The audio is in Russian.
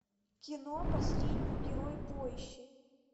кино последний герой поищи